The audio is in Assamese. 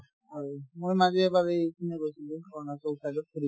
আৰু মই মাজে মাজে এইপিনে গৈছিলো অৰুণাচল side ত ফুৰিবলে